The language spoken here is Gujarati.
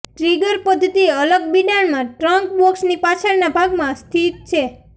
ટ્રિગર પદ્ધતિ અલગ બિડાણ માં ટ્રંક બોક્સની પાછળના ભાગમાં સ્થિત છે